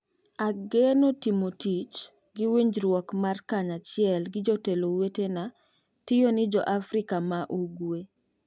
ageno timo tich gi winjruok mar kanyachiel gi jotelo wetena tiyoni jo Afrika ma Ugwe